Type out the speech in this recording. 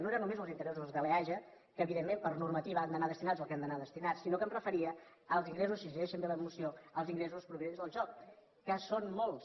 no era només els interessos de l’eaja que evidentment per normativa han d’anar destinats al que han d’anar destinats sinó que em referia als ingressos si es llegeixen bé la moció als ingressos provinents del joc que són molts